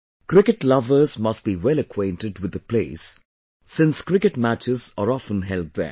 Cricket lovers must be well acquainted with the place since cricket matches are often held there